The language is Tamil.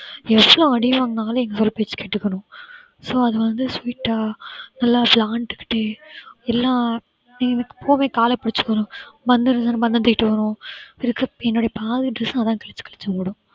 எவ்ளோ அடிய வாங்கினாலும் எங்களோட பேச்ச கேட்டுக்கணும். so அது வந்து sweet ஆ நல்லா விளையாண்டுக்கிட்டே எல்லாம் போகவே கால பிடிச்சுக்கணும். என்னோட பாதி dress அ அதுதான் கிழிச்சு கிழிச்சு விடும்